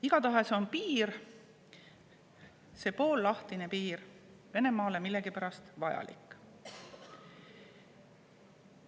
Igatahes on piir, see poollahtine piir Venemaale millegipärast vajalik.